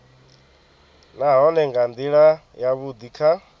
nahone nga ndila yavhudi kha